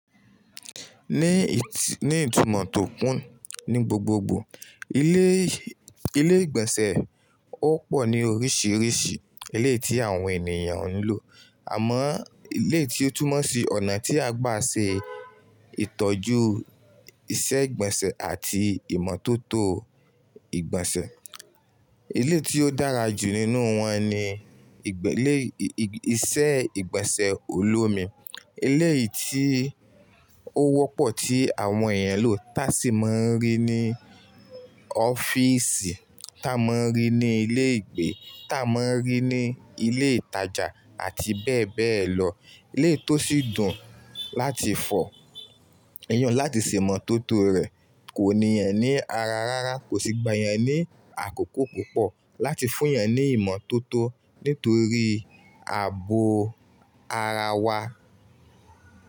Ní, ní ìtumọ̀ tó kún ní gbogbogbò, ilé, ilé ìgbọ̀nsẹ̀ ó pọ̀ ní oríṣìíríṣìí eleyi tí àwọn ènìyàn ń lò. Àmọ́ eleyi ti ó túmọ̀ sí ọ̀nà tí a gbà ṣe ìtọ́jú iṣẹ́ ìgbọ̀nsẹ̀ àti ìmọ̀tótó ìgbọ̀nsẹ̀. Eleyi tí ó dára jù nínú wọn ni ìgbẹ́lé, iṣẹ́ ìgbọ̀nsẹ̀ olómi. Eleyìí tí ó wọ́pọ̀ tí àwọn èèyàn ń lò tá a sì máa ń rí ní ọ́fíìsì, tá a máa ń rí ní ilé ìgbé, tá a máa ń rí ní ilé ìtajà àti bẹ́ẹ̀ bẹ́ẹ̀ lọ. Eleyi tó sì dùn láti fọ̀. Èèyàn láti se imọ̀tótó rẹ̀ kò ní ènìyàn ní ara rárá, kò sì gba ènìyàn ní àkókò púpọ̀ láti fún èèyàn ní ìmọ̀tótó nítorí ààbò ara wa.